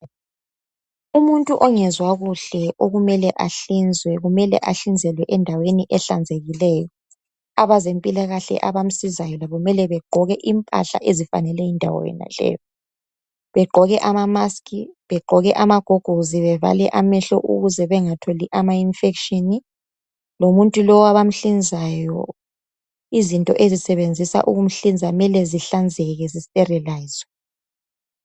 umuntu ongezwakuhle okumele ahlinzwe ahlizelwe endaweni ehlanzekileyo abezempilakahle abamsizayo bekufanele begqoke amamaski begqoke amagogorosi bevale amehlo ukuze bengatholi ama infection lomuntu lowo abamhlinzayo izinto abasebenzisa ukumhlinza mele zihlanzeke zisterolizwe